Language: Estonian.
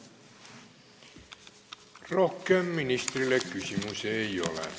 Rohkem ministrile küsimusi ei ole.